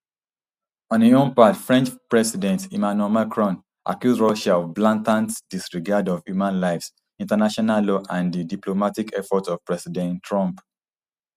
on im own part french president emmanuel macron accuse russia of blatant disregard of human lives international law and di diplomatic efforts of president trump